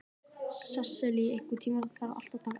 Sesilía, einhvern tímann þarf allt að taka enda.